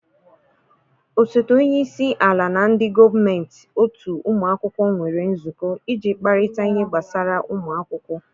osote onye isi ala na ndị gọọmentị otu ụmụ akwụkwọ nwere nzukọ, iji kparịta ihe gbasara ụmụ akwụkwọ